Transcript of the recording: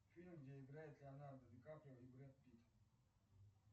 фильм где играет леонардо ди каприо и брэд питт